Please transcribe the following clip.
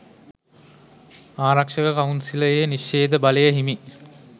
ආරක්ෂක කවුන්සිලයේ නිශ්ෂේධ බලය හිමි